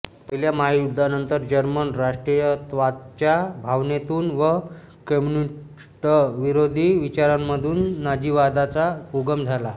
पहिल्या महायुद्धानंतर जर्मन राष्ट्रीयत्वाच्या भावनेतून व कम्युनिस्टविरोधी विचारांमधून नाझीवादाचा उगम झाला